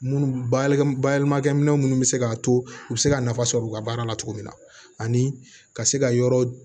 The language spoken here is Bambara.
Munnu balimamu bayɛlɛmakɛ minɛn minnu bɛ se k'a to u bɛ se ka nafa sɔrɔ u ka baara la cogo min na ani ka se ka yɔrɔ